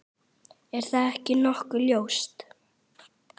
Er það ekki nokkuð ljóst?